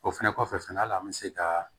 O fɛnɛ kɔfɛ fɛnɛ hali an mi se ka